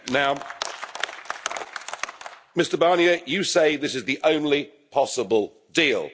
Now, Mr Barnier, you say this is the only possible deal.